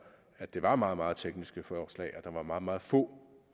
at det var meget meget tekniske forslag og at der var meget meget få